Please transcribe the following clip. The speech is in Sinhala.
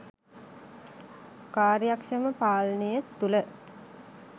කාර්යක්ෂම පාලනය තුළ